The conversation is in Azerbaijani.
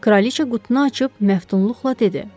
Kraliçə qutunu açıb məftunluqla dedi: